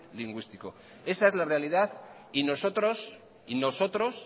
lingüístico esa es la realidad y nosotros y nosotros